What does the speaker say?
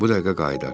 Bu dəqiqə qayıdar.